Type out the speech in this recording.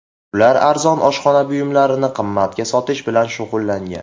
Ular arzon oshxona buyumlarini qimmatga sotish bilan shug‘ullangan.